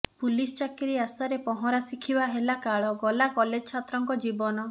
police ଚାକିରି ଆଶା ରେ ପହଁରା ଶିଖିବା ହେଲା କାଳ ଗଲା କଲେଜ୍ ଛାତ୍ରଙ୍କ ଜୀବନ